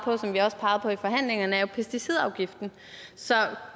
og som vi også pegede på i forhandlingerne er jo pesticidafgiften så